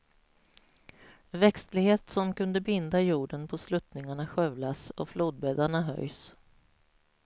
Växtlighet som kunde binda jorden på sluttningarna skövlas, och flodbäddarna höjs.